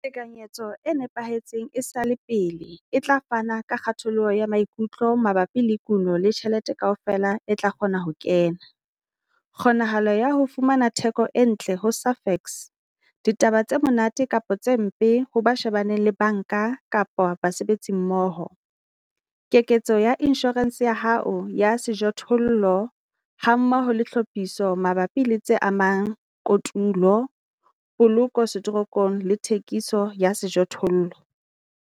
Tekanyetso e nepahetseng e sa le pele e tla fana ka kgatholoho ya maikutlo mabapi le kuno le tjhelete kaofela e tla kgona ho kena, kgonahalo ya ho fumana theko e ntle ho Safex, ditaba tse monate kapa tse mpe ho ba shebaneng le banka kapa basebetsimmoho, keketso ya inshorense ya hao ya sejothollo, hammoho le tlhophiso mabapi le tse amang kotulo, poloko setorong le thekiso ya sejothollo.